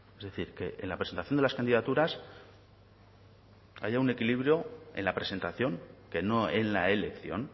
es decir que en la presentación de las candidaturas que haya un equilibrio en la presentación que no en la elección